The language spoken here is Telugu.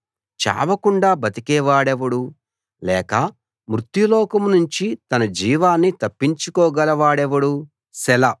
చావకుండా బతికేవాడెవడు లేక మృత్యులోకంనుంచి తన జీవాన్ని తప్పించుకోగల వాడెవడు సెలా